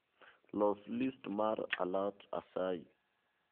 los list mar a lot asayi